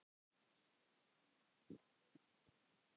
Vigdís amma og afi Gestur.